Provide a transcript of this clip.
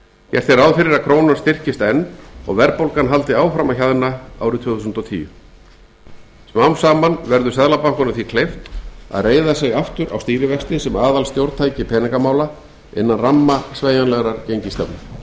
er ráð fyrir að krónan styrkist enn og verðbólgan haldi áfram að hjaðna árið tvö þúsund og tíu smám saman verður seðlabankanum því kleift að reiða sig aftur á stýrivexti sem aðalstjórntæki peningamála innan ramma sveigjanlegrar gengisstefnu